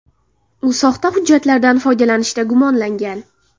U soxta hujjatlardan foydalanishda gumonlangan.